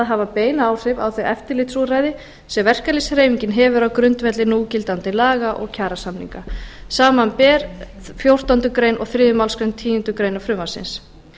hafa bein áhrif á þau eftirlitsúrræði sem verkalýðshreyfingin hefur á grundvelli núverandi laga og kjarasamninga samanber þó fjórtándu greinar og þriðju málsgreinar tíundu greinar frumvarpsins